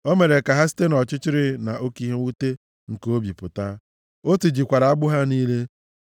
O mere ka ha site nʼọchịchịrị na oke ihe mwute nke obi pụta. O tijikwara agbụ ha niile.